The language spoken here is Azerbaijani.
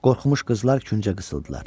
Qorxmuş qızlar küncə qısıldılar.